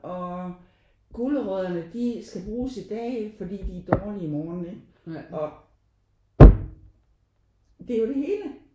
Og gulerødderne de skal bruges i dag fordi de er dårlige i morgen ikke og det er jo det hele